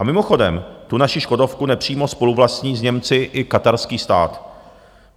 A mimochodem, tu naši Škodovku nepřímo spoluvlastní s Němci i katarský stát.